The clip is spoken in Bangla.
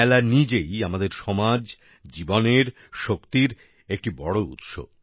মেলা নিজেই আমাদের সমাজ জীবনের শক্তির একটি বড় উৎস